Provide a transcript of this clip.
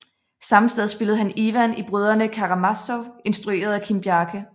Samme sted spillede han Ivan i Brødrene Karamazov instrueret af Kim Bjarke